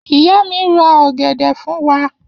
Iya mi ra ogede fun wa.